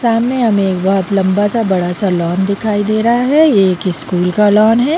सामने हमें एक बहोत लम्बा सा बड़ा सा लॉन दिखाई दे रहा है ये एक स्कूल का लॉन है।